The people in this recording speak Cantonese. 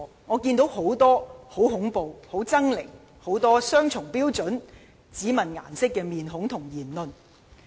我看到很多很恐怖、很猙獰的面孔，很多雙重標準，很多只問顏色的言論。